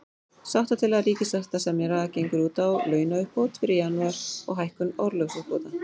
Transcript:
Sáttatillaga ríkissáttasemjara gengur út á launauppbót fyrir janúar, og hækkun orlofsuppbóta.